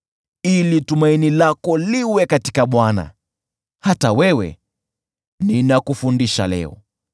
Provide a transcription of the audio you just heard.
Ili tumaini lako liwe katika Bwana , hata wewe, ninakufundisha leo.